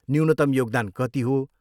न्यूनतम योगदान कति हो?